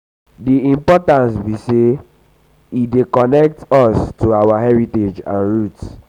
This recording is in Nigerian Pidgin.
di importance be say e dey um connect um connect um us to um our heritage and roots?